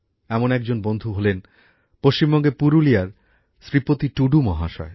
এমনই একজন বন্ধু হলেন পশ্চিমবঙ্গের পুরুলিয়ার শ্রীপতি টুডু মহাশয়